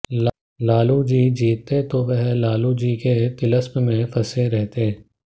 लालू जी जीतते तो वह लालू जी के तिलिस्म में फंसे रहते